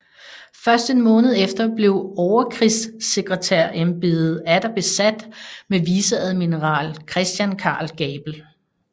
Først en måned efter blev overkrigssekretærembedet atter besat med viceadmiral Christian Carl Gabel